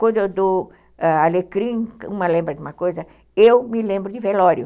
Quando eu dou alecrim, uma lembra de uma coisa, eu me lembro de velório.